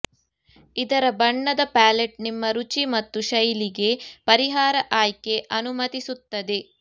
ಇದರ ಬಣ್ಣದ ಪ್ಯಾಲೆಟ್ ನಿಮ್ಮ ರುಚಿ ಮತ್ತು ಶೈಲಿಗೆ ಪರಿಹಾರ ಆಯ್ಕೆ ಅನುಮತಿಸುತ್ತದೆ